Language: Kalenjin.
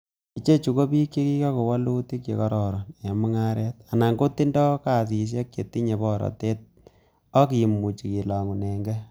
Ichechu ko bik che kiikokon woluutik che kororon en mung'aret, anan kotindoi kasisiek che tinye borotet ak kimuche kilong'uneng'ee.